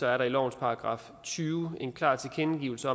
er der i lovens § tyve en klar tilkendegivelse